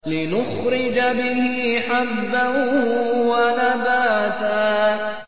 لِّنُخْرِجَ بِهِ حَبًّا وَنَبَاتًا